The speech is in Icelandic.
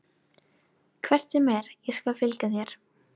Hvert sem er skal ég fylgja þér.